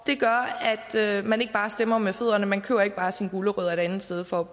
det gør at man ikke bare stemmer med fødderne man køber ikke bare sine gulerødder et andet sted for